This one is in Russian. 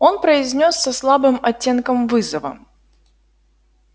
он произнёс со слабым оттенком вызова